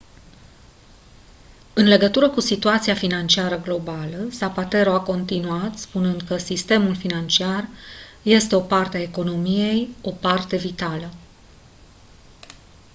în legătură cu situația financiară globală zapatero a continuat spunând că «sistemul financiar este o parte a economiei o parte vitală.»